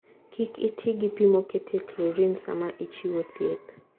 Kik iti gi pi moketie chlorine sama ichiwo thieth.